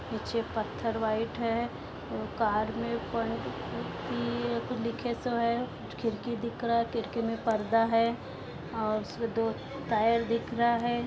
नीचे पत्थर व्हाइट है कार में कुछ लिखे सो है और खिड़की दिख रहा है खिड़की में पर्दा है और दो टायर दिख रहा है।